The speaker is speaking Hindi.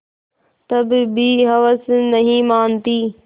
तब भी हवस नहीं मानती